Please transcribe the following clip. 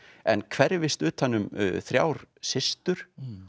en hverfis utan um þrjár systur